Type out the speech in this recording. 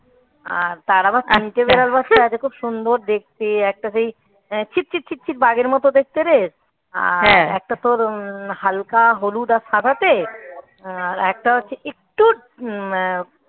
আর তার আবার খুব সুন্দর দেখতে একটা সেই আহ ছিট ছিট ছিট বাঘের মতো দেখতেরে একটা তো হালকা হলুদ আর সাদাতে আহ একটা হচ্ছে একটু উম